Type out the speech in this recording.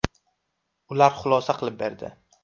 Ular xulosa qilib berdi.